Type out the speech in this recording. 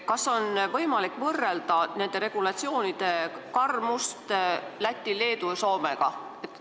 Kas on võimalik võrrelda nende regulatsioonide karmust Läti, Leedu ja Soomega?